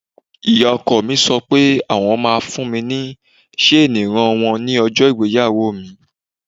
Ìyá ọkọ mi sọ pé àwọn ma fún mi ní ṣeni ìran wọn ní ọjọ́ ìgbéyàwó mi.